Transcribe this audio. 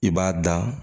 I b'a da